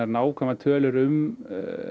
nákvæmar tölur um